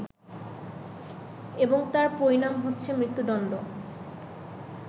এবং তার পরিণাম হচ্ছে মৃত্যুদণ্ড